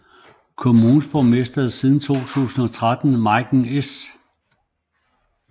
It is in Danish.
Kommunens borgmester er siden 2013 Meiken S